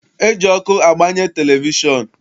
E ji ọkụ agbanye televishọn.